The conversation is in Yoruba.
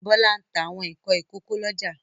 Bọ́lá ń ta àwọn nǹkan ìkókó lọ́jà.